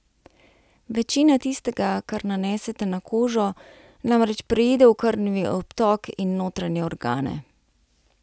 Večina tistega, kar nanesete na kožo, namreč preide v krvni obtok in notranje organe.